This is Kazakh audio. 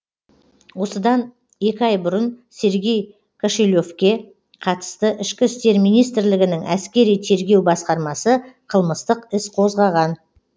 осында екі ай бұрын сергей кошелевке қатысты ішкі істер министрлігінің әскери тергеу басқармасы қылмыстық іс қозғаған